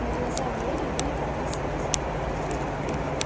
но глаза глории были полны слёз